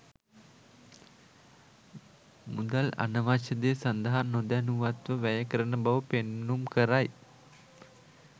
මුදල් අනවශ්‍ය දේ සඳහා නොදැනුවත්ව වැය කරන බව පෙන්නුම් කරයි.